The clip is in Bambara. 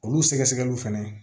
Olu sɛgɛsɛgɛliw fɛnɛ